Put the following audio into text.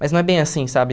Mas não é bem assim, sabe?